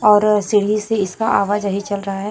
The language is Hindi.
और सीढ़ी से इसका आवाज यही चल रहा है।